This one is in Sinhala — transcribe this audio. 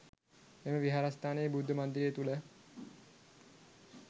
එම විහාරස්ථානයේ බුද්ධ මන්දිරය තුළ